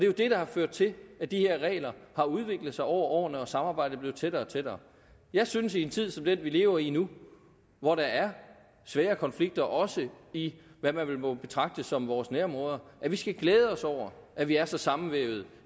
jo det der har ført til at de her regler har udviklet sig over årene og samarbejdet er blevet tættere og tættere jeg synes i en tid som den vi lever i nu hvor der er svære konflikter også i det man vel må betragte som vores nærområder skal glæde os over at vi er så sammenvævet